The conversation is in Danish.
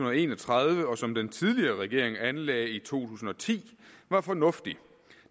og en og tredive og som den tidligere regering anlagde i to tusind og ti var fornuftig